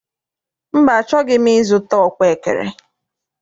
Mba, achọghị m I zụta ọkpaekere.